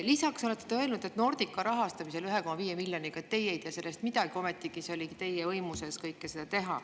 Lisaks olete te öelnud, et Nordica rahastamisest 1,5 miljoniga ei tea te midagi, ometigi oli teie võimuses seda kõike teha.